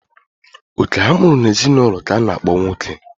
Oke a mụrụ n'ezinụlọ k'a na-akpọ nwoke.